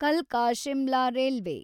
ಕಲ್ಕಾ Shimla railway